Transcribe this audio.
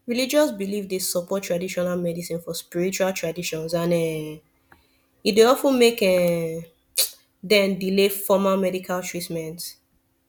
religious belief dey support traditional medicine for spiritual traditions and um e dey of ten make um dem delay formal medical treatment